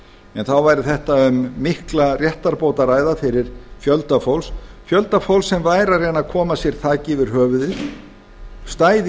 en þá væri þetta um mikla réttarbót að ræða fyrir fjölda fólks fjölda fólks sem væri að reyna að koma sér upp þaki yfir höfuðið stæði í